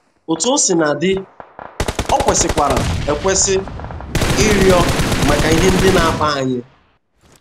Otú o sina dị, o kwesịkwara ekwesị ịrịọ maka ihe ndị na - akpa anyị.